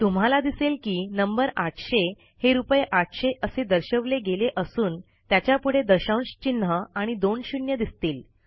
तुम्हाला दिसेल की नंबर ८०० हे रूपये ८०० असे दर्शवले गेले असून त्याच्यापुढे दशांशचिन्ह आणि दोन शून्य दिसतील